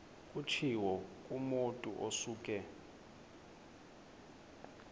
kutshiwo kumotu osuke